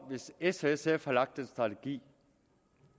hvis s og sf har lagt den strategi